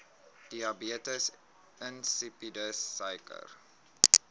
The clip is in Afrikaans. diabetes insipidus suiker